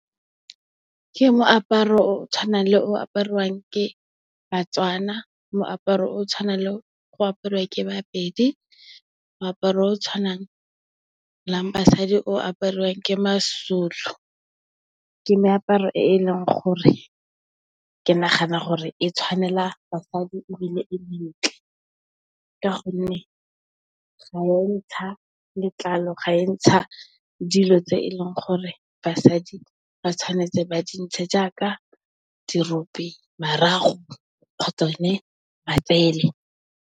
Ke moaparo o o tshwanang le o aparwang ke Batswana, moaparo o tshwanang le o aparwang ke Bapedi, moaparo o tshwanelang basadi o aparwang ke Mazulu. Ke meaparo e e leng gore ke nagana gore e tshwanela basadi ebile, e mentle ka gonne, ga ya ntsha letlalo, ga ya ntsha dilo tse e leng gore basadi ba tshwanetse ba di ntshe jaaka dirope, marago kgotsa one matsele.